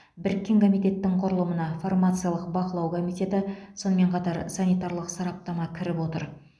біріккен комитеттің құрылымына фармациялық бақылау комитеті сонымен қатар санитарлық сараптама кіріп отыр